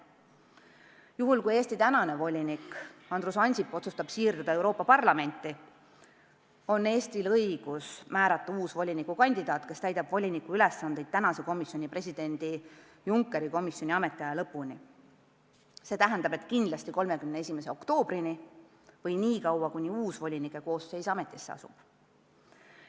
Juhul kui Eesti praegune volinik Andrus Ansip otsustab siirduda Euroopa Parlamenti, on Eestil õigus määrata uus volinikukandidaat, kes täidab voliniku ülesandeid president Junckeri komisjoni ametiaja lõpuni – see tähendab, et kindlasti 31. oktoobrini või nii kaua, kui uus volinike koosseis ametisse asub.